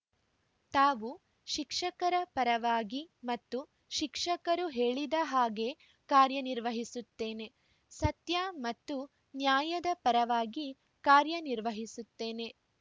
ತಾವು ಶಿಕ್ಷಕರ ಪರವಾಗಿ ಮತ್ತು ಶಿಕ್ಷಕರು ಹೇಳಿದ ಹಾಗೇ ಕಾರ್ಯನಿರ್ವಹಿಸುತ್ತೇನೆ ಸತ್ಯ ಮತ್ತು ನ್ಯಾಯದ ಪರವಾಗಿ ಕಾರ್ಯನಿರ್ವಹಿಸುತ್ತೇನೆ